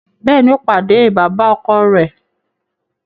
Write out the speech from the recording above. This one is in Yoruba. Béèni, o pàdé baba-ọkọ rẹ